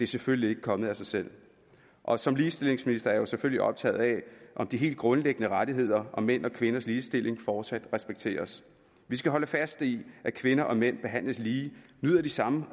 selvfølgelig ikke kommet af sig selv og som ligestillingsminister er jeg jo selvfølgelig optaget af om de helt grundlæggende rettigheder og mænd og kvinders ligestilling fortsat respekteres vi skal holde fast i at kvinder og mænd behandles lige nyder de samme